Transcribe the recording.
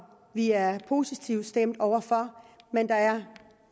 vi er positivt stemt over for men der er